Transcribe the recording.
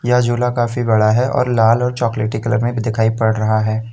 यह झूला काफी बड़ा है और लाल और चॉकलेटी कलर में भी दिखाई पड़ रहा है।